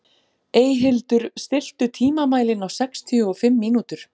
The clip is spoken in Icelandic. Eyhildur, stilltu tímamælinn á sextíu og fimm mínútur.